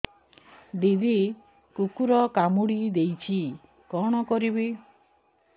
ଦିଦି କୁକୁର କାମୁଡି ଦେଇଛି କଣ କରିବି